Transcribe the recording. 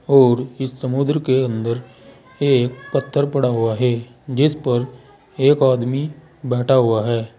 और इस समुद्र के अंदर एक पत्थर पड़ा हुआ है जिस पर एक आदमी बैठा हुआ है।